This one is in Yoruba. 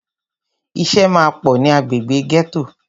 Ìṣẹ́ máà pọ̀ ní agbègbè gẹ́tò.